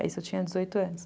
Aí isso eu tinha dezoito anos.